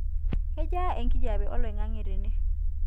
kejaa enkijape olaing'ang'e tene